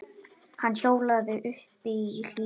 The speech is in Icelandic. Hann hjólaði uppí Hlíðar.